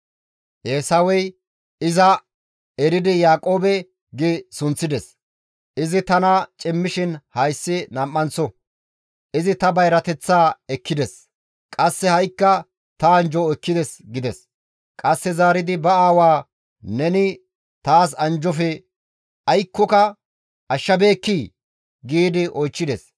Eesawey, «Iza eridi Yaaqoobe gi sunththides; izi tana cimmishin hayssi nam7anththo; izi ta bayrateththaa ekkides; qasse ha7ikka ta anjjo ekkides» gides; qasse zaaridi ba aawaa, «Neni taas anjjofe aykkoka ashshabeekkii?» gi oychchides.